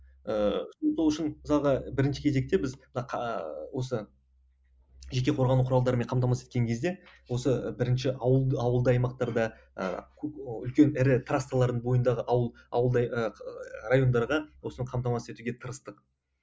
ыыы сол үшін мысалға бірінші кезекте біз мына осы жеке қорғану құралдармен қамтамасыз еткен кезде осы бірінші ауылды ауылды аймақтарда ыыы үлкен ірі трассалардың бойындағы ауыл ауылды ыыы райондарға осыны қамтамасыз етуге тырыстық